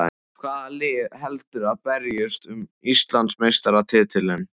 Hvaða lið heldurðu að berjist um Íslandsmeistaratitilinn?